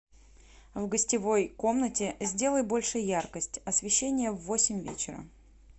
в гостевой комнате сделай больше яркость освещения в восемь вечера